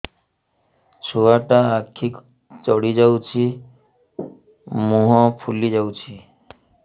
ଛୁଆଟା ଆଖି ଜଡ଼ି ଯାଉଛି ମୁହଁ ଫୁଲି ଯାଉଛି